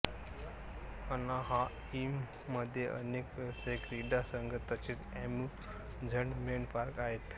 एनाहाइममध्ये अनेक व्यावसायिक क्रीडा संघ तसेच अम्युझमेंट पार्क आहेत